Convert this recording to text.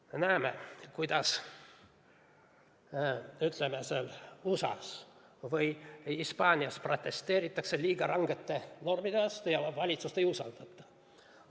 Me näeme, kuidas USA-s või Hispaanias protesteeritakse liiga rangete normide vastu ja valitsust ei usaldata.